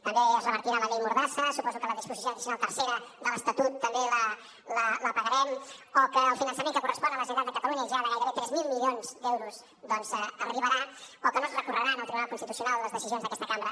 també es revertirà la llei mordassa suposo que la disposició addicional tercera de l’estatut també la pagarem o que el finançament que correspon a la generalitat de catalunya ja de gairebé tres mil milions d’euros arribarà o que no es recorreran al tribunal constitucional les decisions d’aquesta cambra